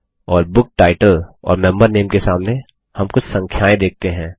और book title और member नामे के सामने हम कुछ संख्याएँ देखते हैं